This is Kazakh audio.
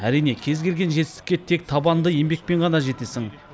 әрине кез келген жетістікке тек табанды еңбекпен ғана жетесің